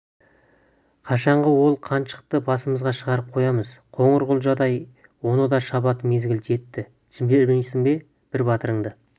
қашанғы ол қаншықты басымызға шығарып қоямыз қоңырқұлжадай оны да шабатын мезгіл жетті жібермейсің бе бір батырыңды